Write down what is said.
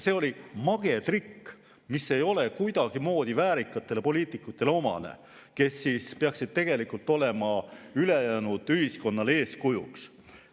See oli mage trikk, mis ei ole kuidagimoodi omane väärikatele poliitikutele, kes peaksid olema ülejäänud ühiskonnale eeskujuks.